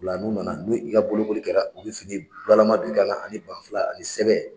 U la n'u na na ni i ka bolokoli kɛra u bɛ fini bula lama don i kan na ani banfula ani sɛbɛ.